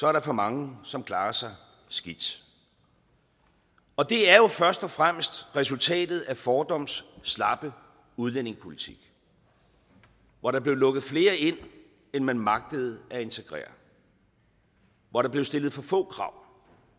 er der for mange som klarer sig skidt og det er jo først og fremmest resultatet af fordums slappe udlændingepolitik hvor der blev lukket flere ind end man magtede at integrere hvor der blev stillet for få krav